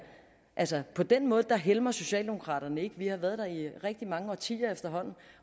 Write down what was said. altså på den måde helmer socialdemokraterne ikke vi har været her i rigtig mange årtier efterhånden